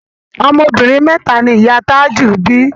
Ọmọ obìnrin mẹ́ta ni ìyá a Tájù bí